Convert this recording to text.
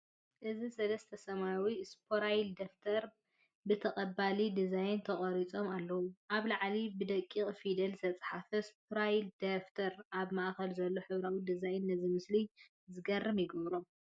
እዚ ሰለስተ ሰማያዊ ስፓይራል ደፍተር ብተቐባሊ ዲዛይን ተቐሪጾም ኣለዉ። ኣብ ላዕሊ ብደቂቕ ፊደላት ዝተጻሕፈ 'ስፓይራል ደፍተር'ን ኣብ ማእከል ዘሎ ሕብራዊ ዲዛይንን ነዚ ምስሊ ዝገርም ይገብሮ።